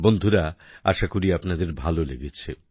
বন্ধুরা আশা করি আপনাদের ভালো লেগেছে